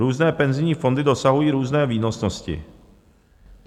Různé penzijní fondy dosahují různé výnosnosti.